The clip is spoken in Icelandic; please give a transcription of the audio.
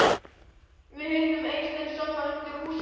Við hittum Eystein sunnan undir húsvegg.